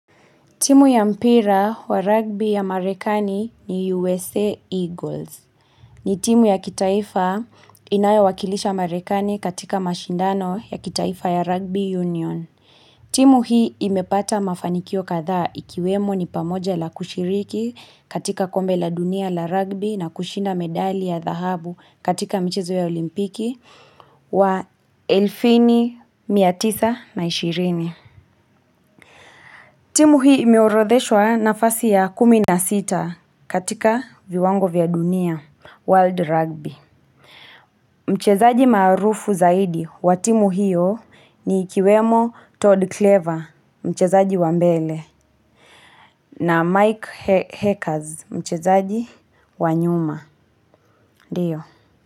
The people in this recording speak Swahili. Timu ya mpira wa rugby ya marekani ni USA Eagles. Ni timu ya kitaifa inayowakilisha marekani katika mashindano ya kitaifa ya rugby union. Timu hii imepata mafanikio kadhaa ikiwemo ni pamoja la kushiriki katika kombe la dunia la rugby na kushinda medali ya dhahabu katika michezo ya olimpiki wa elfu nne mia tisa na ishirini. Timu hii imeorodheshwa nafasi ya kumi na sita katika viwango vya dunia, world rugby. Mchezaji maarufu zaidi wa timu hiyo ni ikiwemo Todd Clever, mchezaji wa mbele, na Mike Hackers, mchezaji wa nyuma. Ndio.